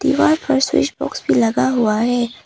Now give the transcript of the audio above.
दीवार पर switch box भी लगा हुआ है।